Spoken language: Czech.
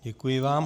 Děkuji vám.